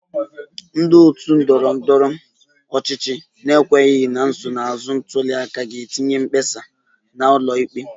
Ndị otu ndọrọ ndọrọ ọchịchị na-ekwenyeghị na nsonaazụ ntuli aka ga-etinye mkpesa ha n'ụlọ ikpe